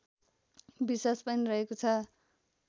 विश्वास पनि रहेको छ